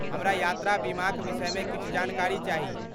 हमरा यात्रा बीमाक विषयमे किछु जानकारी चाही।